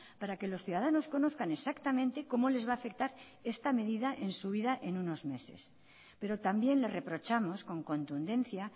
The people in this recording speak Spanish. para que los ciudadanos conozcan exactamente cómo les va a afectar esta medida en su vida en unos meses pero también le reprochamos con contundencia